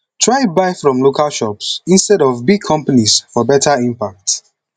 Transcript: try buy from local shops instead of big companies for beta impact